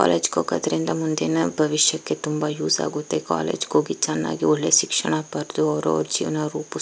college ಗೆ ಹೋಗೋದ್ರಿಂದ ಮುಂದಿನ ಭವಿಷ್ಯಕ್ಕೆ ತುಂಬಾ ಯೂಸ್ ಆಗುತ್ತೆ ಕಾಲೇಜ್ ಗೆ ಹೋಗಿ ಚೆನ್ನಾಗಿ ಒಳ್ಳೆ ಶಿಕ್ಷಣ ಪಡೆದು ಅವರವರ ಜೀವನ ರೂಪಿಸಿ --